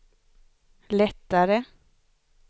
lättare